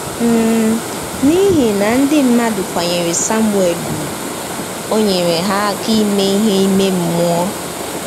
um N’ihi na ndị mmadụ kwanyere Samuel ùgwù, o nyere ha aka ime ihe ime mmụọ.